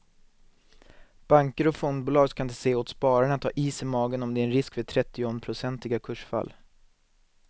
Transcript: Banker och fondbolag ska inte säga åt spararna att ha is i magen om det är en risk för trettionprocentiga kursfall.